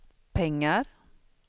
pengar